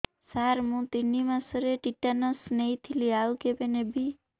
ସାର ମୁ ତିନି ମାସରେ ଟିଟାନସ ନେଇଥିଲି ଆଉ କେବେ ନେବି